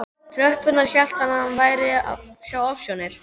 tröppurnar hélt hann að hann væri að sjá ofsjónir.